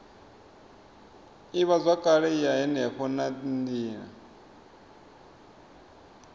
ivhazwakale ya henefho na nila